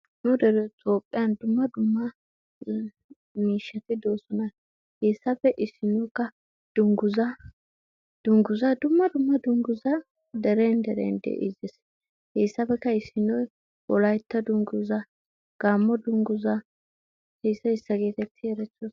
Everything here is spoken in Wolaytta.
Nu dere toophiyaa dumma dumma miishshati doosona. He issappe issinoykka dungguzza, dumma dumma dungguzza dere deren de'idez. He issappekka issinoy Wolaytta dungguzza, gaammo dungguzza heyssa issa geetetti erettoosona.